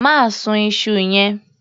Má sun iṣu yẹn.